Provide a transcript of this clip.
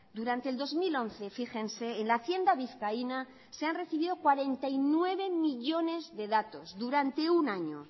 durante el dos mil once fíjense en la hacienda vizcaína se han recibido cuarenta y nueve millónes de datos durante un año